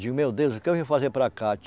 Digo, meu Deus, o que eu vim fazer para cá?